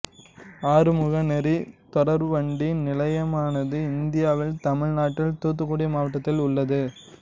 ஆறுமுகநேரி தொடர்வண்டி நிலையமானது இந்தியாவில் தமிழ்நாட்டில் தூத்துக்குடி மாவட்டத்தில் உள்ளது